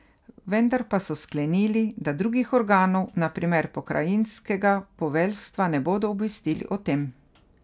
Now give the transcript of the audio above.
Vendar pa so sklenili, da drugih organov, na primer pokrajinskega poveljstva ne bodo obvestili o tem.